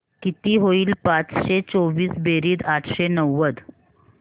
किती होईल पाचशे चोवीस बेरीज आठशे नव्वद